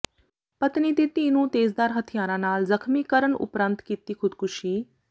ਪਤਨੀ ਤੇ ਧੀ ਨੂੰ ਤੇਜ਼ਧਾਰ ਹਥਿਆਰਾਂ ਨਾਲ ਜ਼ਖ਼ਮੀ ਕਰਨ ਉਪਰੰਤ ਕੀਤੀ ਖ਼ੁਦਕੁਸ਼ੀ